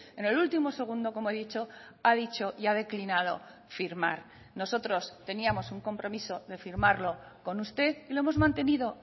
en el último segundo como he dicho ha dicho y ha declinado firmar nosotros teníamos un compromiso de firmarlo con usted y lo hemos mantenido